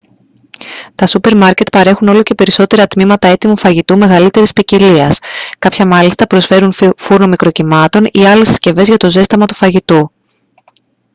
τα σούπερ μάρκετ παρέχουν όλο και περισσότερα τμήματα έτοιμου φαγητού μεγαλύτερης ποικιλίας κάποια μάλιστα προσφέρουν φούρνο μικροκυμάτων ή άλλες συσκευές για το ζέσταμα του φαγητού